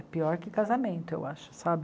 É pior que casamento, eu acho, sabe?